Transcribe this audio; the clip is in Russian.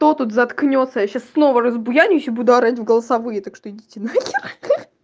кто тут заткнётся я сейчас снова разбуянюсь и буду орать в голосовые так что идите нахер хи-хи